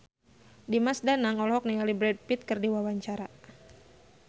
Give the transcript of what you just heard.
Dimas Danang olohok ningali Brad Pitt keur diwawancara